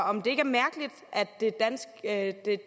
om det ikke er mærkeligt at det